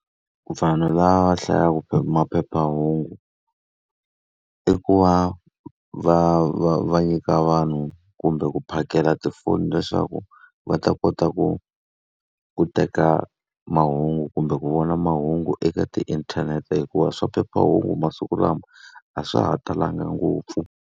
Vanhu lava hlayaka maphephahungu i ku va va va va nyika vanhu kumbe ku phakela tifoni leswaku va ta kota ku ku teka mahungu kumbe ku vona mahungu eka tiinthanete hikuva swa phephahungu masiku lama a swa ha talanga ngopfu.